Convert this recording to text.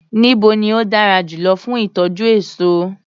Níbo ni ó dára jùlọ fún ìtọ́jú èso.